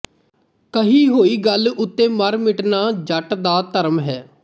ਕਹੀ ਹੋਈ ਗੱਲ ਉਤੇ ਮਰ ਮਿਟਣਾ ਜੱਟ ਦਾ ਧਰਮ ਹੈ